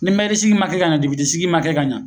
Ni sigi ma kɛ ka ɲa, sigi ma kɛ ka ɲa